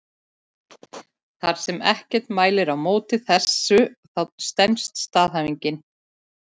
Þar sem ekkert mælir á móti þessu þá stenst staðhæfingin.